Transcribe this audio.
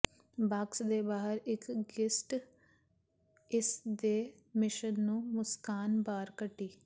box ਦੇ ਬਾਹਰ ਇੱਕ ਗਿਸਟ ਇਸ ਦੇ ਮਿਸ਼ਨ ਨੂੰ ਮੁਸਕਾਨ ਬਾਹਰ ਕੱਢੀ